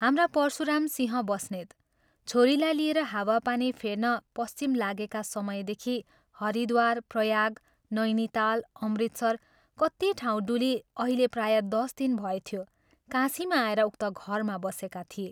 हाम्रा परशुरामसिंह बस्नेत छोरीलाई लिएर हावा पानी फेर्न पश्चिम लागेका समयदेखि हरिद्वार, प्रयाग, नैनीताल, अमृतसर कति ठाउँ डुली अहिले प्रायः दश दिन भएथ्यो काशीमा आएर उक्त घरमा बसेका थिए।